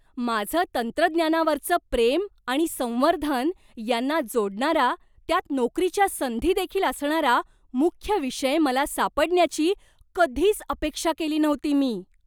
माझं तंत्रज्ञानावरचं प्रेम आणि संवर्धन यांना जोडणारा, त्यात नोकरीच्या संधी देखील असणारा मुख्य विषय मला सापडण्याची कधीच अपेक्षा केली नव्हती मी!